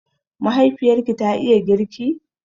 Mahaifiyarki ta iya girki?